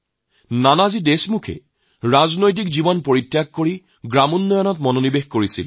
নানাজী দেশমুখে ৰাজনীতিৰ উপৰি গ্ৰামোন্নয়নৰ কামত মনোনিবেশ কৰিছিল